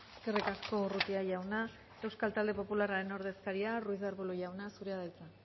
eskerrik asko urrutia jauna euskal talde popularraren ordezkaria ruiz de arbulo jauna zurea da hitza